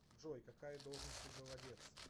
джой какая должность у голодец